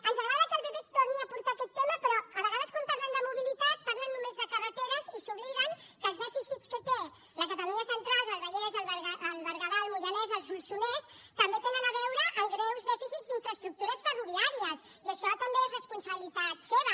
ens agrada que el pp torni a portar aquest tema però a vegades quan parlen de mobilitat parlen només de carreteres i s’obliden que els dèficits que té la catalunya central el vallès el berguedà el moianès el solsonès també tenen a veure amb greus dèficits d’infraestructures ferroviàries i això també és responsabilitat seva